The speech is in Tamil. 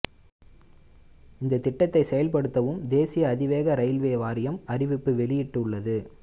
இந்த திட்டத்தை செயல்படுத்தும் தேசிய அதிவேக ரெயில்வே வாரியம் அறிவிப்பு வெளியிட்டுள்ளது